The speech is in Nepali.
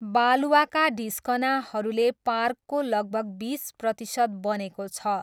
बालुवाका ढिस्कनाहरूले पार्कको लगभग बिस प्रतिशत बनेको छ।